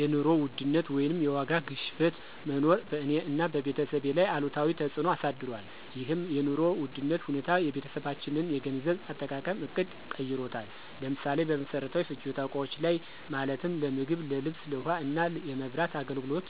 የኑሮ ውድነት ወይም የዋጋ ግሽበት መኖር በእኔ እና በቤተሰቤ ላይ አሉታዊ ተፅዕኖ አሳድሯል። ይህም የኑሮ ውድነት ሁኔታ የቤተሰባችንን የገንዘብ አጠቃቀም ዕቅድ ቀይሮታል። ለምሳሌ፦ በመሰረታዊ ፍጆታ እቃዎች ላይ ማለትም ለምግብ፣ ለልብስ፣ ለውሃ እና የመብራት አገልግሎት